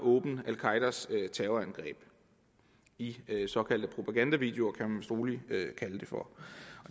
al qaedas terrorangreb i såkaldte propagandavideoer kan man vist roligt kalde det for